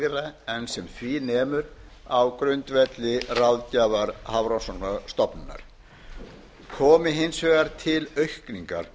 lægra en sem því nemur á grundvelli ráðgjafar hafrannsóknastofnunar komi hins vegar til aukningar